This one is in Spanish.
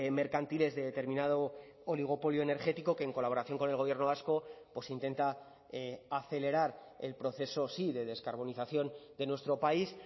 mercantiles de determinado oligopolio energético que en colaboración con el gobierno vasco pues intenta acelerar el proceso sí de descarbonización de nuestro país